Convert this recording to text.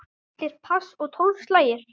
Allir pass og tólf slagir.